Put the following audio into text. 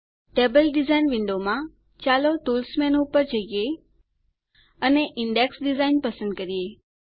table design વિન્ડોમાં ચાલો tools મેનૂમાં જઈએ અને ઈન્ડેક્સ ડીઝાઇન પસંદ કરીએ